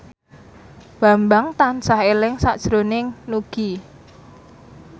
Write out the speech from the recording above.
Bambang tansah eling sakjroning Nugie